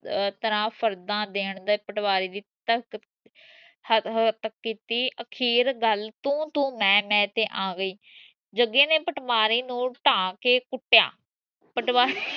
ਅਹ ਤਰ੍ਹਾਂ ਫਰਦਾ ਦੇਣ ਦੀ ਪਟਵਾਰੀ ਦਾ ਕੀਤੀ ਅਖੀਰ ਗੱਲ ਤੂੰ ਤੂੰ ਮੈਂ ਮੈਂ ਤੇ ਆ ਗਈ ਜਗੇ ਨੇ ਪਟਵਾਰੀ ਨੂੰ ਟਾਹ ਕੇ ਕੁੱਟਿਆ ਪਟਵਾਰੀ